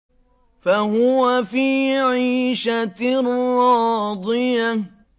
فَهُوَ فِي عِيشَةٍ رَّاضِيَةٍ